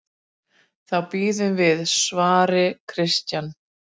Þá bíðum við, svaraði Christian.